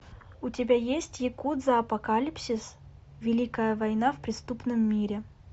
у тебя есть якудза апокалипсис великая война в преступном мире